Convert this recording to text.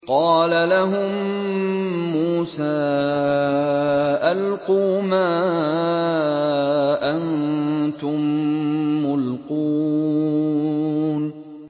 قَالَ لَهُم مُّوسَىٰ أَلْقُوا مَا أَنتُم مُّلْقُونَ